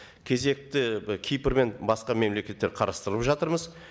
кезекті кипр мен басқа мемлекеттер қарастырып жатырмыз